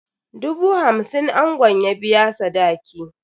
Dubu hamsin angon ya biya sadaki.